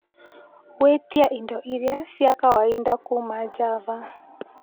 gwĩtia indo iria ciakwaida kuuma Java